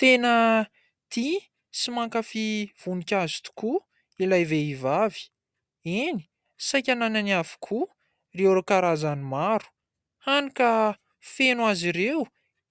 Tena tia sy mankafy voninkazo tokoa ilay vehivavy eny ! saika nananany avokoa ireo karazany maro hany ka feno azy ireo